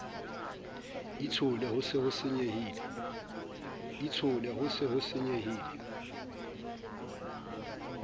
itshole ho se ho senyehile